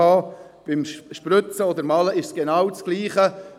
Beim Spritzen oder Malen ist es genau dasselbe.